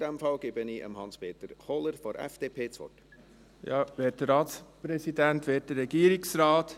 Für die FDP gebe ich Hans-Peter Kohler das Wort.